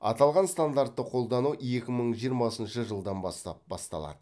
аталған стандартты қолдану екі мың жиырмасыншы жылдан бастап басталады